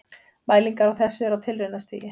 Mælingar á þessu eru á tilraunastigi.